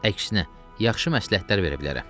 Əksinə, yaxşı məsləhətlər verə bilərəm.